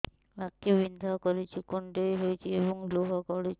ଆଖି ବିନ୍ଧା କରୁଛି କୁଣ୍ଡେଇ ହେଉଛି ଏବଂ ଲୁହ ଗଳୁଛି